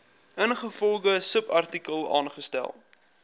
ingevolge subartikel aangestel